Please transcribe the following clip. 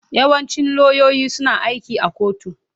Yawancin lauyoyi suna aiki a kotu.